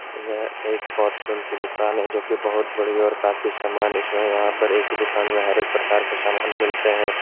यह एक पॉरचून की दुकान है जोकि बहुत बड़ी और काफी सामान इसमें यहाँ पर एक ही दुकान में हर एक प्रकार के सामान मिलते हैं।